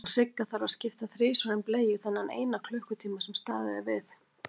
Og Sigga þarf að skipta þrisvar um bleiu þennan eina klukkutíma sem staðið er við.